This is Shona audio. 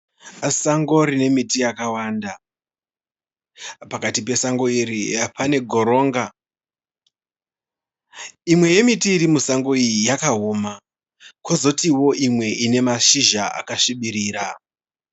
Sango rine miti yakawanda. Pakati pesango iri pane goronga. Imwe yemiti iri musango iyi yakaoma. Kozoti wo imwe ine mashizha akasvibirira.